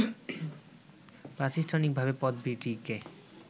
প্রাতিষ্ঠানিকভাবে পদবীটিকে